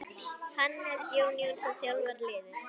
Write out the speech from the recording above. Hannes Jón Jónsson þjálfar liðið.